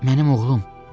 Mənim oğlum!